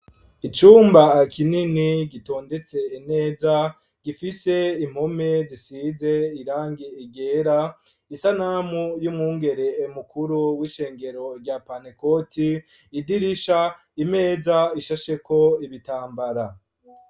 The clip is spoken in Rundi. Icumba kinini gitondetse ineza gifise impome zisize irangi ryera isanamu y'umwungere mukuru w'ishengero rya pantekoti idirisha imeza ishasheko ibitambara.